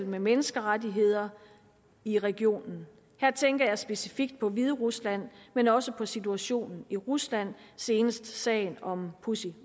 med menneskerettigheder i regionen her tænker jeg specifikt på hviderusland men også på situationen i rusland senest sagen om pussy